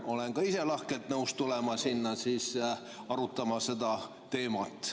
Olen ka ise lahkelt nõus tulema sinna arutama seda teemat.